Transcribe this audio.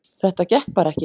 Þetta gekk bara ekki